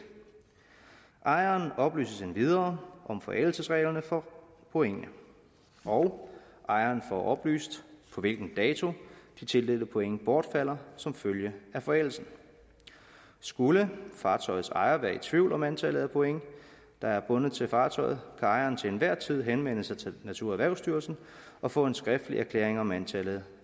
ejeren oplyses endvidere om forældelsesreglerne for pointene og ejeren får oplyst på hvilken dato de tildelte point bortfalder som følge af forældelsen skulle fartøjets ejer være i tvivl om antallet af point der er bundet til fartøjet kan ejeren til enhver tid henvende sig til naturerhvervsstyrelsen og få en skriftlig erklæring om antallet